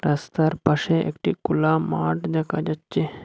রাস্তার পাশে একটি কোলা মাঠ দেখা যাচ্চে।